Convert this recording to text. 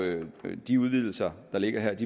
de udvidelser der ligger her